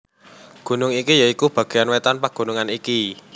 Gunung iki ya iku bagéan wétan pagunungan iki